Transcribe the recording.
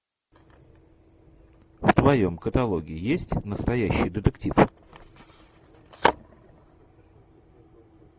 в твоем каталоге есть настоящий детектив